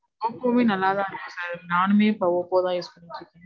ஒப்போமே நல்லா தான் இருக்கு sir. நானுமே இப்போ ஒப்போ தான் use பண்ணிட்டு இருக்கேன்.